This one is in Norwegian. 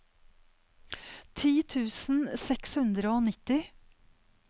ti tusen seks hundre og nitti